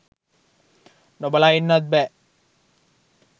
නොබලා ඉන්නත් බෑ